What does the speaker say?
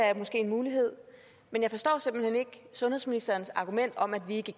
er måske en mulighed jeg forstår simpelt hen ikke sundhedsministerens argument om at vi ikke